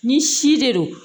Ni si de don